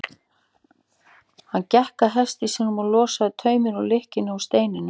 Hann gekk að hesti sínum og losaði tauminn úr lykkjunni á steininum.